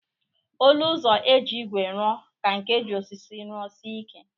Olu ụzọ e ji ígwè ruọ ka nke e ji osisi ruọ sie ike